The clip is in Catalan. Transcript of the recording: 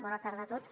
bona tarda a tots